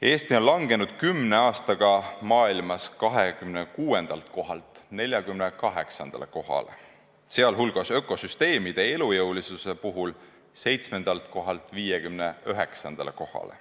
Eesti on langenud kümne aastaga maailmas 26. kohalt 48. kohale, sealhulgas ökosüsteemide elujõulisuse puhul 7. kohalt 59. kohale.